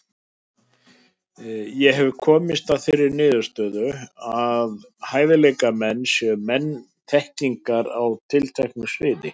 Ég hef komist að þeirri niðurstöðu, að hæfileikamenn séu menn þekkingar á tilteknu sviði.